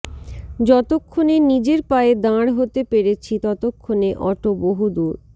যতক্ষণে নিজের পায়ে দাঁড় হতে পেরেছি ততক্ষণে অটো বহুদূর